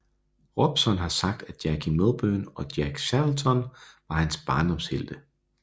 Robson har sagt at Jackie Milburn og Len Shackleton var hans barndomshelte